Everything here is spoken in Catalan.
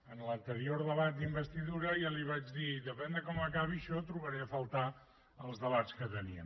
en l’anterior debat d’investidura ja li ho vaig dir depèn de com acabi això trobaré a faltar els debats que teníem